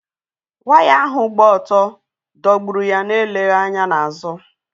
Waya ahụ gbà otú dọ̀gburụ́ ya na-eleghị anya na azụ.